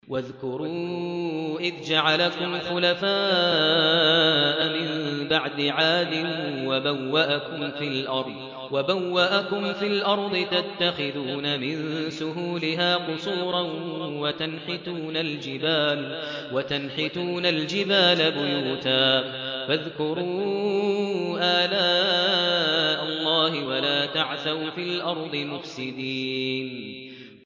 وَاذْكُرُوا إِذْ جَعَلَكُمْ خُلَفَاءَ مِن بَعْدِ عَادٍ وَبَوَّأَكُمْ فِي الْأَرْضِ تَتَّخِذُونَ مِن سُهُولِهَا قُصُورًا وَتَنْحِتُونَ الْجِبَالَ بُيُوتًا ۖ فَاذْكُرُوا آلَاءَ اللَّهِ وَلَا تَعْثَوْا فِي الْأَرْضِ مُفْسِدِينَ